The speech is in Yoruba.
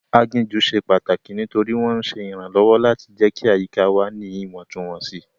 Aginjù ṣe pàtàkì nítorí wọ́n ń ṣe ìrànlọ́wọ́ láti jẹ́ kí àyíká wà ní Ìwọ̀ntúnwọ̀nsì